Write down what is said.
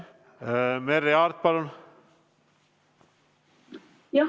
Merry Aart, palun!